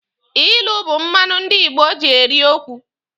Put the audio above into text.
Ilu bu mmanụ ndị Igbo ji eri okwu.